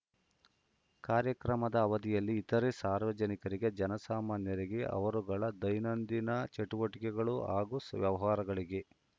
ಕಾರ್ಯಕ್ರಮದ ಅವಧಿಯಲ್ಲಿ ಇತರೆ ಸಾರ್ವಜನಿಕರಿಗೆ ಜನಸಾಮಾನ್ಯರಿಗೆ ಅವರುಗಳ ದೈನಂದಿನ ಚಟುವಟಿಕೆಗಳು ಹಾಗೂ ವ್ಯವಹಾರಗಳಿಗೆ